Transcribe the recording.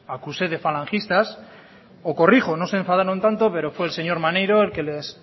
acuse de falangistas o corrijo no se enfadaron tanto pero fue señor maneiro el que les